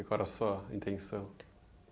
Qual era sua intenção?